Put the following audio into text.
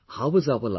How is our life